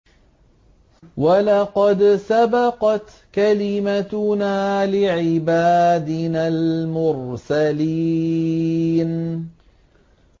وَلَقَدْ سَبَقَتْ كَلِمَتُنَا لِعِبَادِنَا الْمُرْسَلِينَ